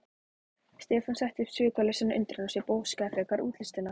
Stefán setti upp svikalausan undrunarsvip og óskaði frekari útlistunar.